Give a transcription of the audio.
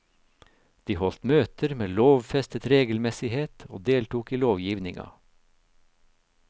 De holdt møter med lovfestet regelmessighet og deltok i lovgivninga.